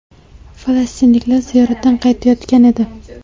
Falastinliklar ziyoratdan qaytayotgan edi.